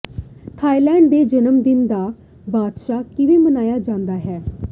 Thailand ਦੇ ਜਨਮ ਦਿਨ ਦਾ ਬਾਦਸ਼ਾਹ ਕਿਵੇਂ ਮਨਾਇਆ ਜਾਂਦਾ ਹੈ